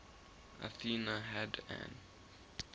athena had an